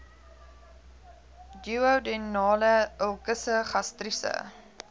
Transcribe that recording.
duodenale ulkusse gastriese